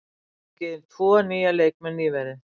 Við höfum fengið inn tvo nýja leikmenn nýverið.